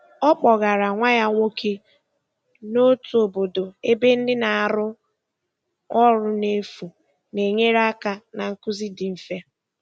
Ọ kpọgara nwa ya nwoke n'otu obodo ebe ndị na-arụ ọrụ n'efu na-enyere aka na nkuzi dị mfe.